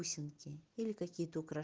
бусинки или какие-то украше